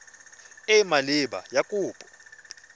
e e maleba ya kopo